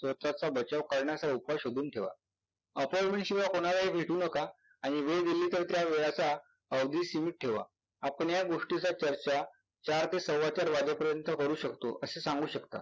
स्वतःचा बचाव करण्याचा उपाय शोधून ठेवा. appointment शिवाय कुणालाही भेटू नका आणि वेळ दिली तर त्या वेळाचा सीमित ठेवा. आपण या गोष्टीचा चर्चा चार ते सव्वा चार वाजेपर्यंत करू शकतो असे सांगू शकता.